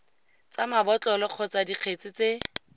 tsa mabotlolo kgotsa dikgetse tse